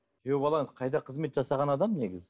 күйеу балаңыз қайда қызмет жасаған адам негізі